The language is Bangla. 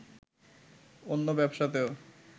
অন্য ব্যবসাতেও